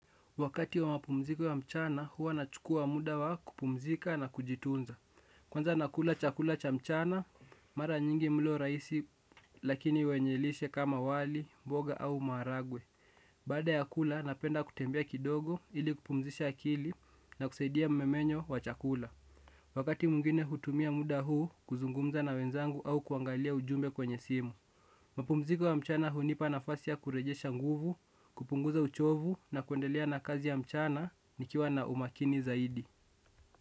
Wakati wa mapumziko ya mchana huwa nachukua muda wa kupumzika na kujitunza. Kwanza nakula chakula cha mchana, mara nyingi mlo rahisi lakini wenye lishe kama wali, mboga au maharagwe. Baada ya kula napenda kutembea kidogo ili kupumzisha akili na kusaidia mmemenyo wa chakula. Wakati mwingine hutumia muda huu kuzungumza na wenzangu au kuangalia ujumbe kwenye simu. Mapumziko ya mchana hunipa nafasi ya kurejesha nguvu, kupunguza uchovu na kuendelea na kazi ya mchana nikiwa na umakini zaidi.